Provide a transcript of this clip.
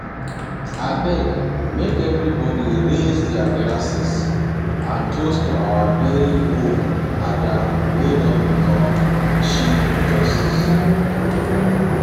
Abeg make everybody raise their glasses and toast to our very own Ada wey don become Chief Justice